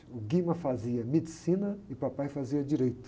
O Guima fazia medicina e o papai fazia direito.